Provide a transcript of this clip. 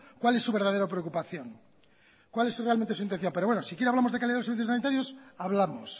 cuál es su verdadera preocupación cuál es realmente su intención pero bueno si quiere hablamos de calidad de los servicios sanitarios hablamos